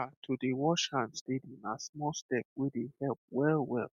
ah to dey wash hand steady na small step wey dey help well well